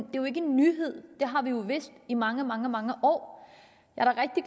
jo ikke en nyhed det har vi jo vidst i mange mange mange år